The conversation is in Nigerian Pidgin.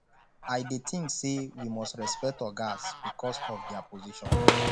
i dey think say we must respect ogas because of dia position